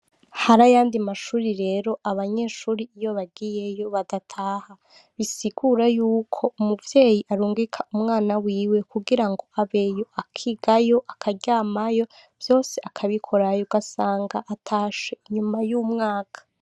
Harayandi mashure rero abanyeshure iyo bagiye yo badataha bisigura ko umuvyeyi arunguka umwana wiwe kugira ngo abeyo, akigayo, akaryayo vyose akabikorayo ugasanga batashe inyuma yumwaka.